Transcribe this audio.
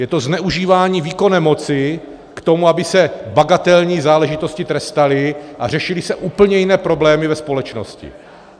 Je to zneužívání výkonné moci k tomu, aby se bagatelní záležitosti trestaly a řešily se úplně jiné problémy ve společnosti.